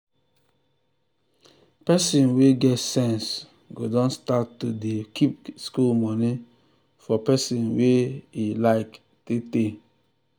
person wey get sense go don start to dey keep school money for person wey e like tey tey.